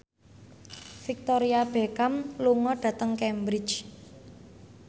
Victoria Beckham lunga dhateng Cambridge